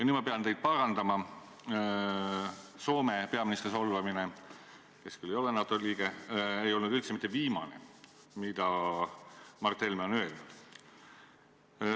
Nüüd ma pean teid parandama, Soome peaministri solvamine ei olnud üldse mitte viimane solvang, mida Mart Helme on öelnud.